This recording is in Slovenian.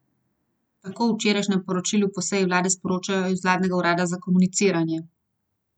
Tako v včerajšnjem poročilu po seji vlade sporočajo iz vladnega urada za komuniciranje.